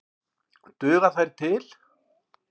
Duga þær til?